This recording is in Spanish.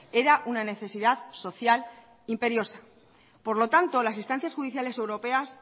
era una necesidad social imperiosa por lo tanto las instancias judiciales europeas